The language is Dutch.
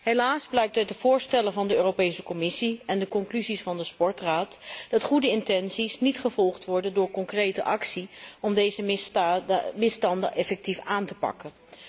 Helaas blijkt uit de voorstellen van de Europese Commissie en de conclusies van de Sportraad dat goede intenties niet gevolgd worden door concrete actie om deze misstanden effectief aan te pakken.